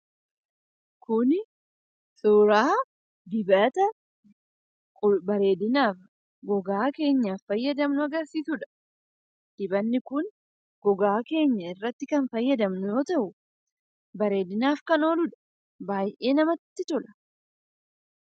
Kun suuraa dibata bareedina gogaa keenyaaf fayyadamnu agarsiisuu dha. Innis gogaa keenya irratti yeroo baayyee kan fayyadamnu yammuu ta'u baayyee kan namatti toluu dha.